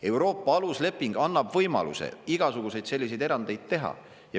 Euroopa alusleping annab võimaluse igasuguseid selliseid erandeid teha.